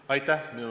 Aitäh!